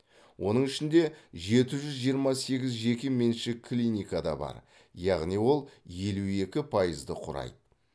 оның ішінде жеті жүз жиырма сегіз жеке меншік клиника да бар яғни ол елу екі пайызды құрайды